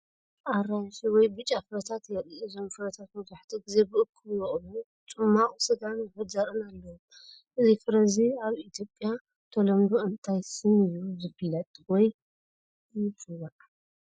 ኣራንሺ ወይ ብጫ ፍረታት የርኢ። እዞም ፍረታት መብዛሕትኡ ግዜ ብእኩብ ይበቁሉ፣ ጽማቝ ስጋን ውሑድ ዘርእን ኣለዎም። እዚ ፍረ እዚ ኣብ ኢትዮጵያ ብተለምዶ እንታይ ስም እዩ ዝፍለጥ ወይ ይጽዋዕ?